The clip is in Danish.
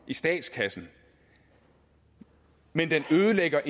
i statskassen men at den ødelægger